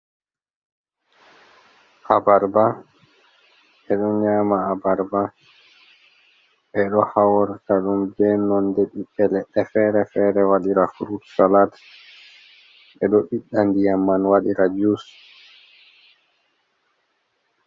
Abarba, be do nyama Abarba, be do haura dum be non de bibe ledde fere fere wadira frutsalat be do bidda diyam man wadira jus.